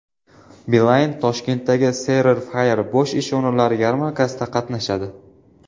Beeline Toshkentdagi Career Fair bo‘sh ish o‘rinlari yarmarkasida qatnashadi.